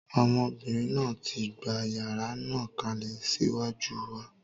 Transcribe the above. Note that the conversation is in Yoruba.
Ọmọbìnrin náà tí gbà yàrá náà kalẹ̀ ṣíwájú wa.